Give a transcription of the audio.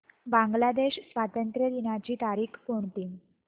बांग्लादेश स्वातंत्र्य दिनाची तारीख कोणती